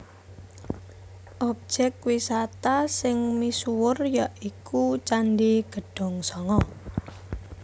Objèk wisata sing misuwur ya iku Candhi Gedhongsanga